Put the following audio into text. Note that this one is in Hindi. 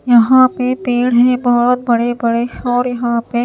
यहां पे पेड़ है बहुत बड़े-बड़े और यहां पे--